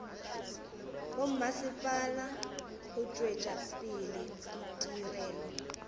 bommasepala go tšwetša pele ditirelo